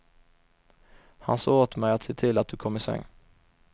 Han sa åt mig att se till att du kom i säng.